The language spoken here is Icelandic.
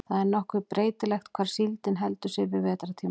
það er nokkuð breytilegt hvar síldin heldur sig yfir vetrartímann